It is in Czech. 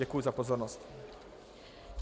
Děkuji za pozornost.